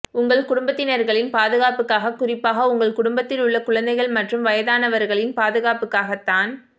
உங்கள் குடும்பத்தினர்களின் பாதுகாப்புக்காக குறிப்பாக உங்கள் குடும்பத்தில் உள்ள குழந்தைகள் மற்றும் வயதானவர்களின் பாதுகாப்புக்காக தான்